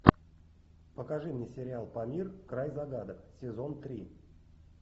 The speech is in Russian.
покажи мне сериал памир край загадок сезон три